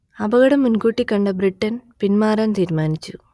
അപകടം മുൻകൂട്ടി കണ്ട ബ്രിട്ടൻ പിന്മാറാൻ തീരുമാനിച്ചു